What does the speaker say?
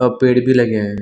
अ पेड़ भी लगे हैं।